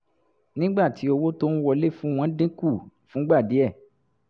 nígbà tí owó tó ń wọlé fún wọn dín kù fúngbà díẹ̀